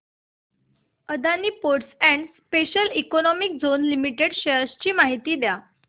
Adani ports and special economic zone limited shares ची माहिती द्या